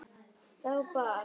Þá bar